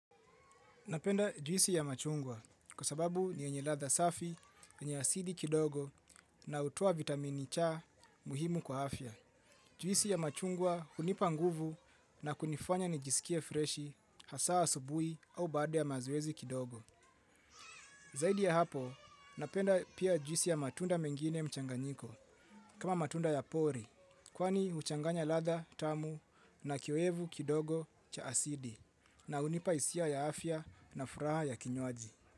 Napenda juisi ya machungwa kwa sababu ni yenye ladha safi, yenye asili kidogo na hutuoa vitamini c muhimu kwa afya. Juisi ya machungwa hunipa nguvu na kunifanya nijisikie freshi hasa asubuhi au baada ya mazoezi kidogo. Zaidi ya hapo, napenda pia juisi ya matunda mengine mchanganyiko kama matunda ya pori, kwani uchanganya ladha tamu na kioevu kidogo cha asidi na hunipa hisia ya afya na furaha ya kinywaji.